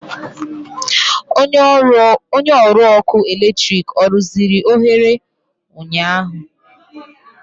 Onye ọrụ ọkụ eletrik ọ rụziri oghere ụnyaahụ?